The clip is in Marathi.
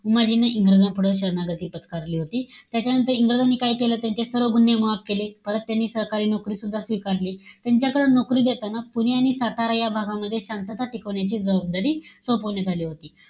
उमाजींनी इंग्रजांपुढं शरणागती पत्करली होती. त्याच्यानंतर इंग्रजांनी काय केलं? त्यांच्या सर्व गुन्हे माफ केले. परत त्यांनी सरकारी नोकरीसुद्धा स्वीकारली. त्यांच्याकडे नोकरी देताना पुणे आणि सातारा या भागामध्ये शांतता टिकवण्याची जबादारी सोपवण्यात आली होती.